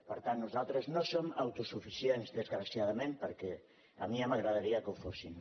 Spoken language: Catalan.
per tant nosaltres no som autosuficients desgraciadament perquè a mi ja m’agradaria que ho fóssim